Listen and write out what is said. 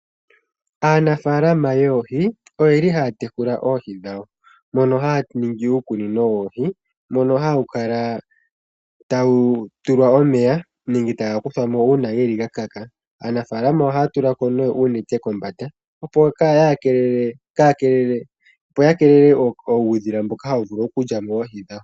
Aanafaalama yoohi oyeli haya tekula oohi dhawo, mono haya ningi uukunino woohi, mono hawu kala tawu tulwa omeya, nenge taga kuthwamo uuna geli ga kaka. Aanafaalama ohaya tula ko nee uunete kombanda opo ya keelele uudhila mboka hawu vulu oku lyamo oohi dhayo.